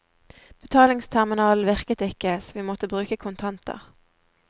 Betalingsterminalen virket ikke, så vi måtte bruke kontanter.